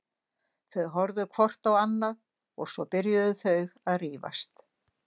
Þau horfðu hvort á annað og svo byrjuðu þau að rífast.